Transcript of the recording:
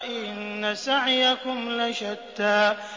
إِنَّ سَعْيَكُمْ لَشَتَّىٰ